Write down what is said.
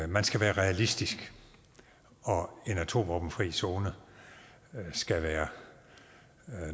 man skal være realistisk og en atomvåbenfri zone skal være